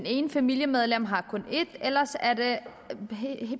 ene familiemedlem har kun én ellers er det